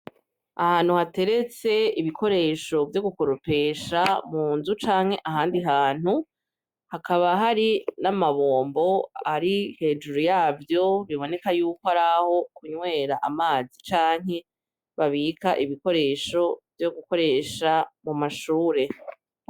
Ahantu hateretse ibikoresho vyo gukoropesha mu nzu canke ahandi hantu hakaba hari n'amabombo ari hejuru yavyo biboneka yuko araho kunywera amazi canke babika ibikoresho vyo gukoresha mu mashure.